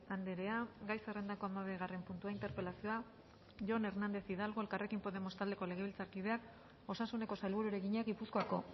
andrea gai zerrendako hamabigarren puntua interpelazioa jon hernández hidalgo elkarrekin podemos taldeko legebiltzarkideak osasuneko sailburuari egina gipuzkoako